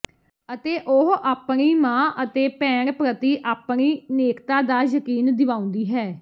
ਅਤੇ ਉਹ ਆਪਣੀ ਮਾਂ ਅਤੇ ਭੈਣ ਪ੍ਰਤੀ ਆਪਣੀ ਨੇਕਤਾ ਦਾ ਯਕੀਨ ਦਿਵਾਉਂਦੀ ਹੈ